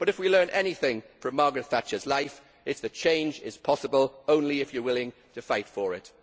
But if we learn anything from Margaret Thatcher's life, it is that change is possible only if you are willing to fight for it.